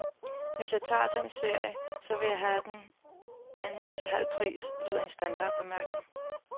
Hvis jeg tager den serie, så vil jeg have den anden til halv pris, lyder en standardbemærkning.